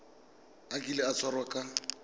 a kile a tshwarwa ka